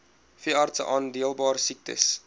veeartse aanmeldbare siektes